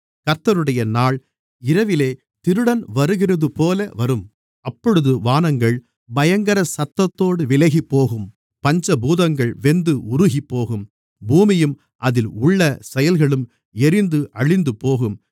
கர்த்தருடைய நாள் இரவிலே திருடன் வருகிறதுபோல வரும் அப்பொழுது வானங்கள் பயங்கர சத்தத்தோடு விலகிப்போகும் பஞ்சபூதங்கள் வெந்து உருகிப்போகும் பூமியும் அதில் உள்ள செயல்களும் எரிந்து அழிந்துபோகும்